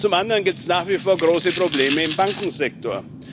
Zum anderen gibt es nach wie vor große Probleme im Bankensektor.